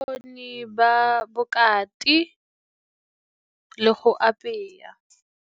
Bokgoni ba bokati le go apeya.